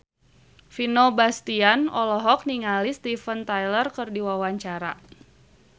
Vino Bastian olohok ningali Steven Tyler keur diwawancara